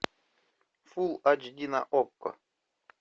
фул айч ди на окко